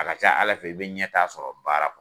A ka ca Ala fɛ i bɛ ɲɛtaa sɔrɔ baara kɔ